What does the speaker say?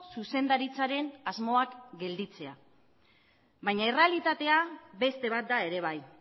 zuzendaritzaren asmoak gelditzea baina errealitatea beste bat da ere bai